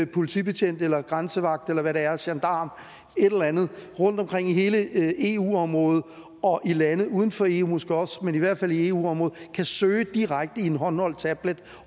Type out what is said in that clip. politibetjent eller grænsevagt eller hvad det er gendarm et eller andet rundtomkring i hele eu området og i lande uden for eu måske også men i hvert fald i eu området kan søge direkte i en håndholdt tablet